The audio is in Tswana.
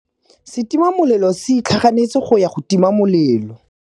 Setima molelô se itlhaganêtse go ya go tima molelô.